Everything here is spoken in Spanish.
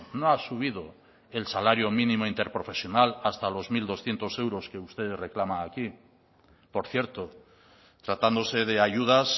no ha subido el salario mínimo interprofesional hasta los mil doscientos euros que usted reclama aquí por cierto tratándose de ayudas